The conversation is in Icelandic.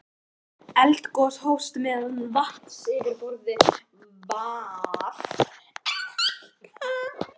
Eldgos hófst meðan vatnsborðið var enn að hækka.